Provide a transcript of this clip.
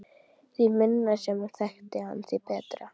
Því minna sem hún þekkti hann, því betra.